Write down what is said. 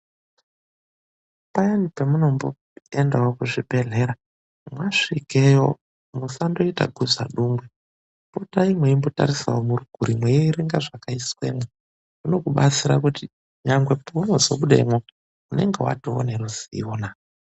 Payani pamunomboenda kuchibhedhlera, masvikeyo musandoite gudzadungwe. Potai meindotarisawo murikure mweierenga zvakaiswemo. Zvinokubatsira kuti nyangwe paunozobudemo unenge watowe neruzivonaa.